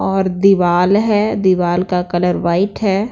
और दीवाल है दीवाल का कलर वाइट है।